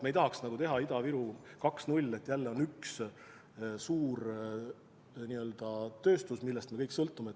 Me ei tahaks teha Ida-Viru 2.0, et jälle on üks suur tööstus, millest me kõik sõltume.